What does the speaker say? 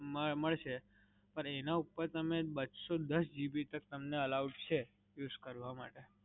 મડસે. પણ એના ઉપર તમને બસો દસ GB તક તમને allowed છે use કરવા માટે.